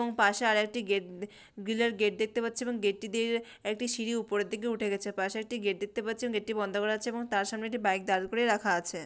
এবং পাশে আরেকটি গেট গ্রিল এর গেট দেখতে পাচ্ছি এবং গেট টি দিয়ে একটি সিঁড়ি উপরের দিকে উঠেগেছে। পাশে একটি গেট দেখতে পাচ্ছি গেট টি বন্ধ করা আছে এবং তার সামনে একটি বাইক দাঁড় করে রাখা আছে।